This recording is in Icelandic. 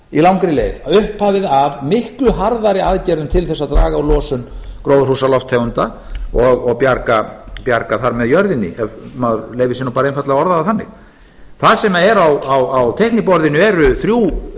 á langri leið upphafið að miklu harðari aðgerðum til þess að draga á losun gróðurhúsalofttegunda og bjarga þar með jörðinni ef maður leyfir sér bara einfaldlega að orða það þannig þar sem á teikniborðinu eru þrjú